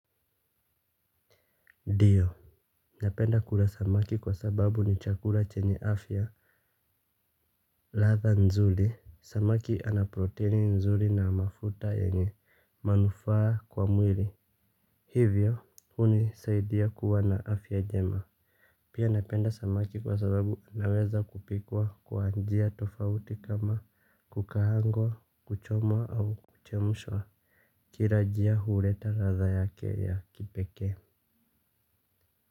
Dio. Napenda kula samaki kwa sababu ni chakula chenye afya. Ladha nzuli. Samaki ana proteini nzuli na mafuta yenye manufaa kwa mwili. Hivyo hunisaidia kuwa na afya jema. Pia napenda samaki kwa sababu anaweza kupikwa kwa njia tofauti kama kukahangwa kuchomwa au kuchemshwa. Kira jia hureta ladha yake ya kipekee.